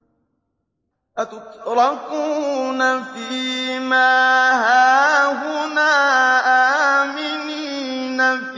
أَتُتْرَكُونَ فِي مَا هَاهُنَا آمِنِينَ